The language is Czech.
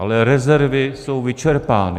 Ale rezervy jsou vyčerpány.